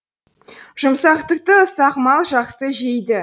жұмсақ түкті ұсақ мал жақсы жейді